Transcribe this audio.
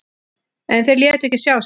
En þeir létu ekki sjá sig.